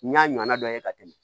N y'a ɲɔnna dɔ ye ka tɛmɛ